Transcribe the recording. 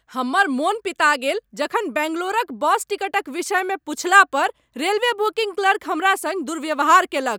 हमर मन पिता गेल जखन बैंगलोरक बस टिकटक विषयमे पुछला पर रेलवे बुकिंग क्लर्क हमरा संग दुर्व्यवहार कयलक।